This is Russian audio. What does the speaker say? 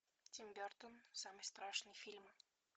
тим бертон самый страшный фильм